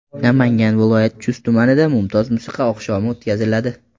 Namangan viloyati Chust tumanida mumtoz musiqa oqshomi o‘tkaziladi.